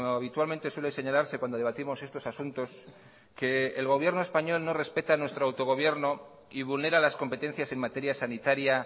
habitualmente suele señalarse cuando debatimos estos asuntos que el gobierno español no respeta nuestro autogobierno y vulnera las competencias en materia sanitaria